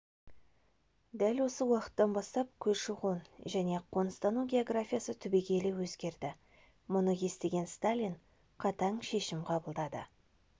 дәл осы уақыттан бастап көші-қон және қоныстану географиясы түбегейлі өзгерді мұны естіген сталин қатаң шешім қабылдады